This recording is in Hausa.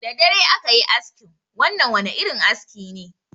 Da dare aka yi askin, wannan wani irin aski ne.